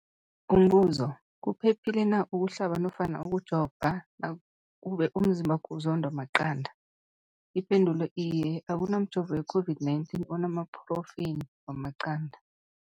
Umbuzo, kuphephile na ukuhlaba nofana ukujova nakube umzimbakho uzondwa maqanda. Ipendulo, iye. Akunamjovo we-COVID-19 onamaphrotheyini wamaqanda.